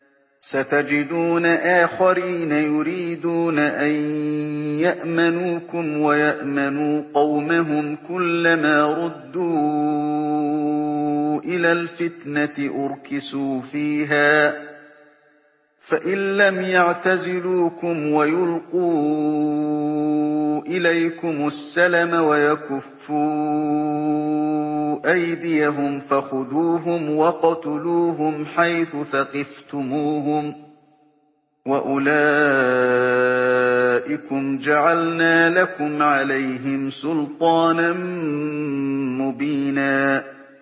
سَتَجِدُونَ آخَرِينَ يُرِيدُونَ أَن يَأْمَنُوكُمْ وَيَأْمَنُوا قَوْمَهُمْ كُلَّ مَا رُدُّوا إِلَى الْفِتْنَةِ أُرْكِسُوا فِيهَا ۚ فَإِن لَّمْ يَعْتَزِلُوكُمْ وَيُلْقُوا إِلَيْكُمُ السَّلَمَ وَيَكُفُّوا أَيْدِيَهُمْ فَخُذُوهُمْ وَاقْتُلُوهُمْ حَيْثُ ثَقِفْتُمُوهُمْ ۚ وَأُولَٰئِكُمْ جَعَلْنَا لَكُمْ عَلَيْهِمْ سُلْطَانًا مُّبِينًا